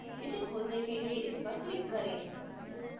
इसे खोलने के लिए इस पर click करें